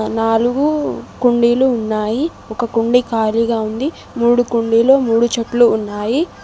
నాలుగు కుండీలు ఉన్నాయి ఒక కుండి ఖాళీగా ఉంది మూడు కుండీలో మూడు చెట్లు ఉన్నాయి.